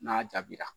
N'a jaabira